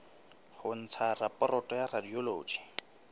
ho ntsha raporoto ya radiology